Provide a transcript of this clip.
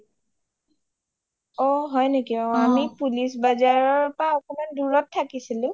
অ হয় নেকি আমি police bazar ৰ পৰা একমান দুৰত থাকিছিলো